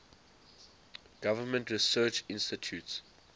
government research institutes